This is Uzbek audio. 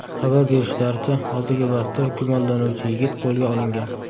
Xabar berishlaricha, hozirgi vaqtda gumonlanuvchi yigit qo‘lga olingan.